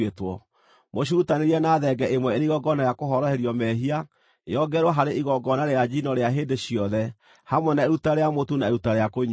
Mũcirutanĩrie na thenge ĩmwe ĩrĩ igongona rĩa kũhoroherio mehia, yongererwo harĩ igongona rĩa njino rĩa hĩndĩ ciothe, hamwe na iruta rĩa mũtu na iruta rĩa kũnyuuo.